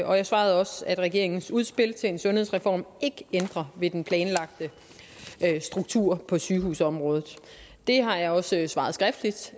og jeg svarede også at regeringens udspil til en sundhedsreform ikke ændrer ved den planlagte struktur på sygehusområdet det har jeg også svaret skriftligt